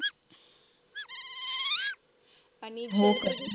हो का ग.